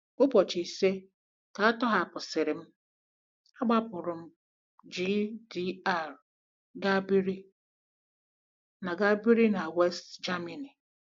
Ụbọchị ise ka a tọhapụsịrị m, agbapụrụ m GDR gaa biri na gaa biri na West Germany.